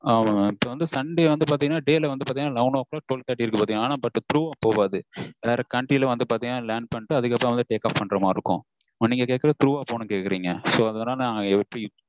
ஆனா sunday வந்து பாத்தீங்கன்னா day ல வந்து பாத்தீங்கன்னா eleven o'clock க்கு twelve thirty இருக்கு. ஆனா through போகாது வேற country ல land பண்ணிட்டு take off பண்ற மாதிரி இருக்கும நீங்க கேக்குறது through போனோம் கேக்குறீங்க.